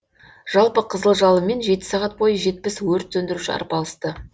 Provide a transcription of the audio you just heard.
жалпы қызыл жалынмен жеті сағат бойы жетпіс өрт сөндіруші арпалысты